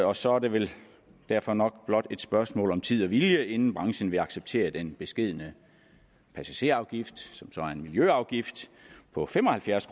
og så er det vel derfor nok blot et spørgsmål om tid og vilje inden branchen vil acceptere den beskedne passagerafgift som så er en miljøafgift på fem og halvfjerds